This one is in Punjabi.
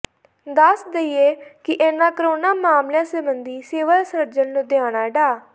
ਦੱਸ ਦੇਈਏ ਕਿ ਇਨ੍ਹਾਂ ਕੋਰੋਨਾ ਮਾਮਲਿਆਂ ਸਬੰਧੀ ਸਿਵਲ ਸਰਜਨ ਲੁਧਿਆਣਾ ਡਾ